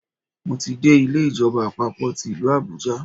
Mo ti dé Ilé ìjọba àpapò ti ìlú Àbújá